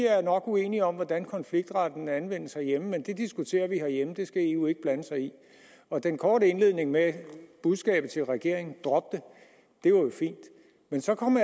er uenige om hvordan konfliktretten anvendes herhjemme men at det diskuterer vi herhjemme det skal eu ikke blande sig i og den korte indledning med budskabet til regeringen om at droppe det var jo fin men så kom